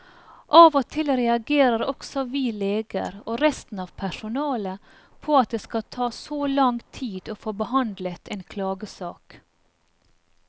Av og til reagerer også vi leger og resten av personalet på at det skal ta så lang tid å få behandlet en klagesak.